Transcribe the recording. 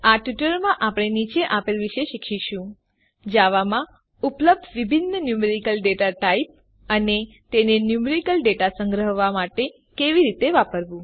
આ ટ્યુટોરીયલમાં આપણે નીચે આપેલ વિશે શીખીશું જાવામાં ઉપલબ્ધ વિભિન્ન ન્યુમેરીક્લ ડેટા ટાઇપ અને તેને ન્યુમેરીક્લ ડેટા સંગ્રહવા માટે કેવી રીતે વાપરવું